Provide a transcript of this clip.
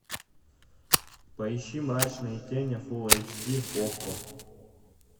поищи мрачные тени фулл эйч ди окко